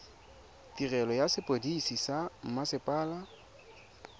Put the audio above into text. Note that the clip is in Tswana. tirelo ya sepodisi sa mmasepala